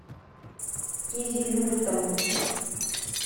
кизилюртом